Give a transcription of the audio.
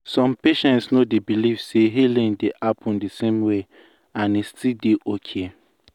some patients no dey believe say healing dey happen the same way and e still dey okay.